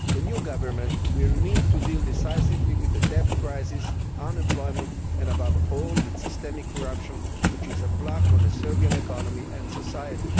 The new government will need to deal decisively with the debt crisis, unemployment and, above all, with the systemic corruption which is blocking the Serbian economy and Serbia's society.